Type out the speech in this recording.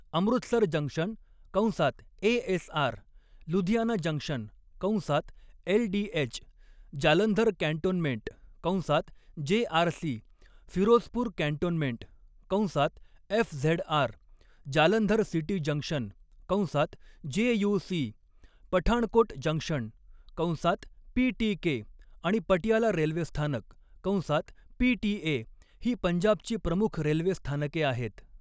Amritsar junction कंसात ASR, Ludhiana junction कंसात LDH, Jalandhar cantonment कंसात जेआरसी, फिरोजपूर कॅन्टोन्मेंट कंसात एफझेडआर, जालंधर सिटी जंक्शन कंसात जेयूसी, पठाणकोट जंक्शन कंसात पीटीके आणि पटियाला रेल्वे स्थानक कंसात पीटीए ही पंजाबची प्रमुख रेल्वे स्थानके आहेत.